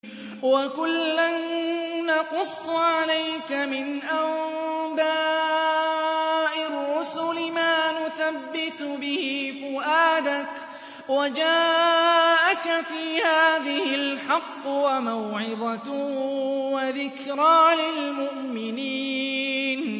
وَكُلًّا نَّقُصُّ عَلَيْكَ مِنْ أَنبَاءِ الرُّسُلِ مَا نُثَبِّتُ بِهِ فُؤَادَكَ ۚ وَجَاءَكَ فِي هَٰذِهِ الْحَقُّ وَمَوْعِظَةٌ وَذِكْرَىٰ لِلْمُؤْمِنِينَ